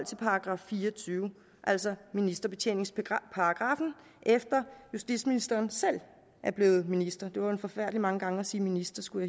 til § fire og tyve altså ministerbetjeningsparagraffen efter at justitsministeren selv er blevet minister det var forfærdelig mange gange at sige minister skulle